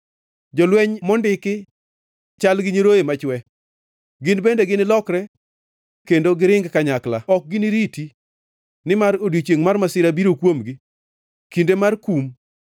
Jolweny mondiki chal gi nyiroye machwe. Gin bende ginilokre kendo giring kanyakla, ok giniriti, nimar odiechiengʼ mar masira biro kuomgi, kinde margi mar kum.